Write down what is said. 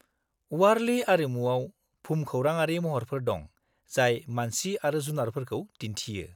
-वारलि आरिमुआव भुमखौराङारि महरफोर दं जाय मानसि आरो जुनारफोरखौ दिन्थियो।